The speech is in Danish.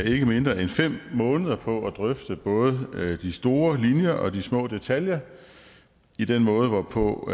ikke mindre end fem måneder på at drøfte både de store linjer og de små detaljer i den måde hvorpå